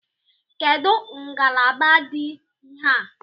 Kedụ ngalaba dị ihe a?